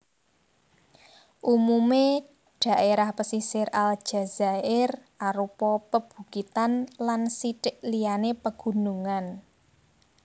Umumé dhaérah pesisir Aljazair arupa pabukitan lan sithik liyané pagunungan